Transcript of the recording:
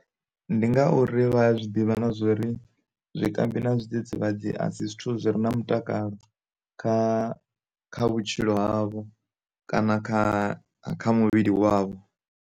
Ndi ngauri vha ya zwi ḓivha na zwori zwi kambi na zwi dzidzivhadzi asi zwithu zwi re na mutakalo kha kha vhutshilo havho kana kha kha muvhili wavho.